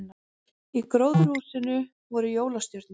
Í gróðurhúsinu voru jólastjörnur